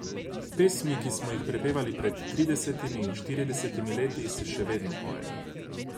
Pesmi, ki smo jih prepevali pred tridesetimi in štiridesetimi leti, se pa še vedno pojejo.